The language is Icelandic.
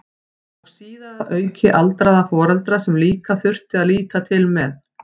Og síðar að auki aldraða foreldra sem líka þurfti að líta til með.